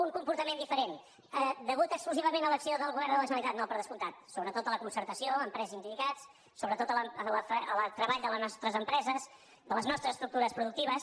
un comportament diferent degut exclusivament a l’acció del govern de la generalitat no per descomptat sobretot a la concertació empresa i sindicats sobretot al treball de les nostres empreses a les nostres estructures productives